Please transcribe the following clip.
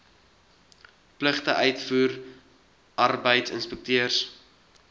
pligte uitvoer arbeidsinspekteurs